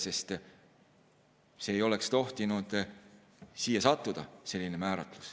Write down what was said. See määratlus ei oleks tohtinud siia sattuda.